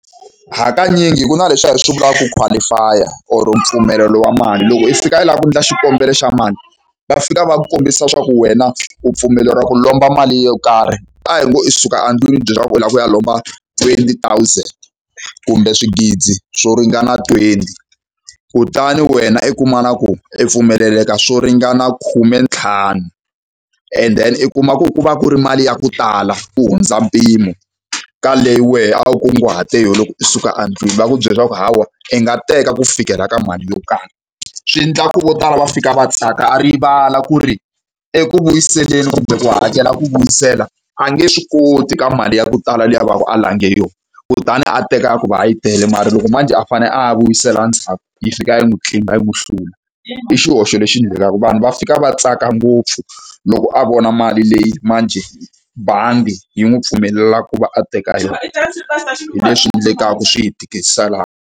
Hakanyingi ku na leswiya hi swi vulaka ku qualify-a or mpfumelelo wa mali. Loko i fika i lava ku endla xikombelo xa mali, va fika va ku kombisa leswaku wena u pfumeleriwa ku lomba mali yo karhi. A hi ngo i suka endlwini u ti byele leswaku u lava ku ya lomba twenty thousand, kumbe swigidi yo ringana twenty. Kutani wena i kuma na ku i pfumeleleka swo ringana khumentlhanu, and then i kuma ku ku va ku ri mali ya ku tala ku hundza mpimo ka leyi wehe a wu kunguhate yona loko u suka endlwini. Va ku byela leswaku hawa i nga teka ku fikela ka mali yo karhi. Swi endla ku vo tala va fika va tsaka a rivala ku ri eku vuyiseleni kumbe ku hakela ku vuyisela a nge swi koti ka mali ya ku tala leyi a va ka a lange yona. Kutani a teka hikuva yi tele mara loko manjhe a fanele a ya vuyisela ndzhaku yi fika yi n'wi tlimba, yi n'wi hlula. I xihoxo lexi endlekaka. Vanhu va fika va tsaka ngopfu loko a vona mali leyi manjhe bangi yi n'wi pfumelela ku va a teka yona. Hi leswi endlekaka, swi hi tikiselaka.